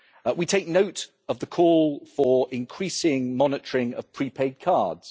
We take note of the call for increasing monitoring of prepaid cards.